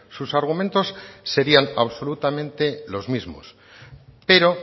sus argumentos serían absolutamente los mismos pero